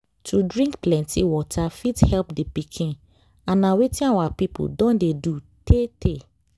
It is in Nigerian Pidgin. to drink plenty water fit help the pikin and na wetin our people don dey do tey tey.